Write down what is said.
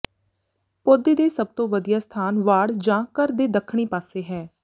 ਪੌਦੇ ਦੇ ਸਭ ਤੋਂ ਵਧੀਆ ਸਥਾਨ ਵਾੜ ਜਾਂ ਘਰ ਦੇ ਦੱਖਣੀ ਪਾਸੇ ਹੈ